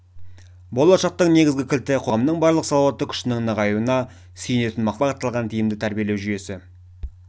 болашақтың негізгі кілті қоғамның барлық салауатты күшінің нығаюына сүйенетін мақсатты бағытталған тиімді тәрбиелеу жүйесі